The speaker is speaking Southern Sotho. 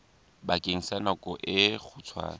bakeng sa nako e kgutshwane